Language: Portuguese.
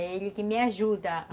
É ele que me ajuda a